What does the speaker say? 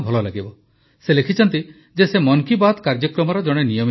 ସେ ଲେଖିଛନ୍ତି ଯେ ସେ ମନ୍ କୀ ବାତ୍ କାର୍ଯ୍ୟକ୍ରମର ଜଣେ ନିୟମିତ ଶ୍ରୋତା